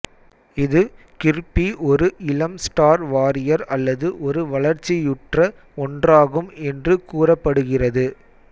இது கிர்பி ஒரு இளம் ஸ்டார் வாரியர் அல்லது ஒரு வளர்ச்சியுற்ற ஒன்றாகும் என்று கூறப்படுகிறது